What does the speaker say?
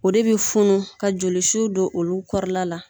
O de bɛ funu ka jolisu don olu kɔrɔla la